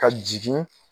Ka jigin